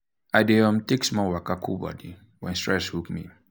i dey um take small waka cool body when stress hook um me.